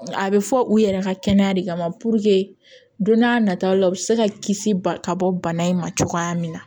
A bɛ fɔ u yɛrɛ ka kɛnɛya de kama don n'a nataw la u bɛ se ka kisi ba ka bɔ bana in ma cogoya min na